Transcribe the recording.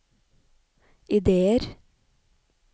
ideer